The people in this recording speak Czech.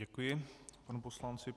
Děkuji panu poslanci.